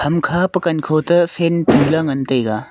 hamkha pa kankho ta fan tuley ngan taiga.